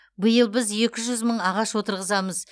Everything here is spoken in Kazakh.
биыл біз екі жүз мың ағаш отырғызамыз